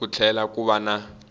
ku tlhela ku va na